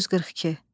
1942.